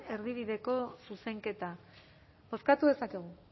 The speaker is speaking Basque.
erdibideko zuzenketa bozkatu dezakegu